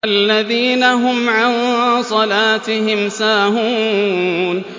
الَّذِينَ هُمْ عَن صَلَاتِهِمْ سَاهُونَ